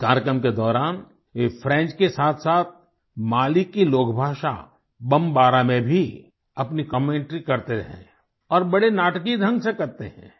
इस कार्यक्रम के दौरान वे फ्रेंच के साथसाथ माली की लोकभाषा बमबारा में भी अपनी कमेंटरी करते हैं और बड़े नाटकीय ढ़ंग से करते हैं